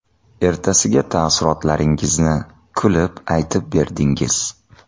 Ertasiga taassurotlaringizni kulib aytib berdingiz.